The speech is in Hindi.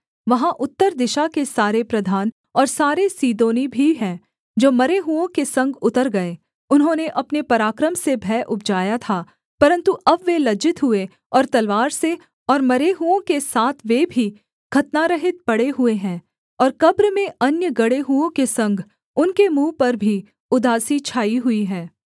वहाँ उत्तर दिशा के सारे प्रधान और सारे सीदोनी भी हैं जो मरे हुओं के संग उतर गए उन्होंने अपने पराक्रम से भय उपजाया था परन्तु अब वे लज्जित हुए और तलवार से और मरे हुओं के साथ वे भी खतनारहित पड़े हुए हैं और कब्र में अन्य गड़े हुओं के संग उनके मुँह पर भी उदासी छाई हुई है